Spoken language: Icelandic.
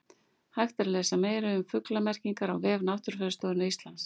Hægt er að lesa meira um fuglamerkingar á vef Náttúrufræðistofnunar Íslands.